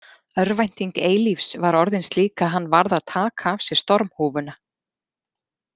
Örvænting Eilífs var orðin slík að hann varð að taka af sér stormhúfuna.